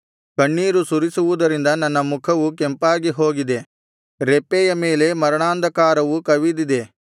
ಕಣ್ಣೀರು ಸುರಿಯುವುದರಿಂದ ನನ್ನ ಮುಖವು ಕೆಂಪಾಗಿ ಹೋಗಿದೆ ರೆಪ್ಪೆಯ ಮೇಲೆ ಮರಣಾಂಧಕಾರವು ಕವಿದಿದೆ